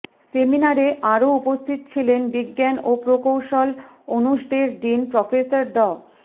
সেমিনারে আরও উপস্থিত ছিলেন বিজ্ঞান ও প্রকৌশল অনুষদের ডিন প্রফেসর ড